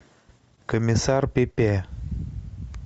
комиссар пепе